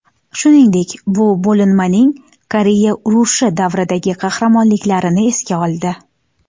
Shuningdek, bu bo‘linmaning Koreya urushi davridagi qahramonliklarini esga oldi.